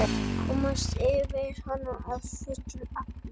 Komast yfir hana að fullu?